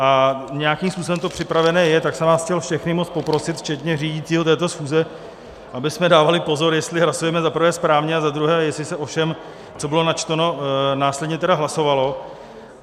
A nějakým způsobem to připravené je, tak jsem vás chtěl všechny moc poprosit včetně řídícího této schůze, abychom dávali pozor, jestli hlasujeme za prvé správně, a za druhé, jestli se o všem, co bylo načteno, následně tedy hlasovalo.